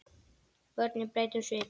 Börnin breyta um svip.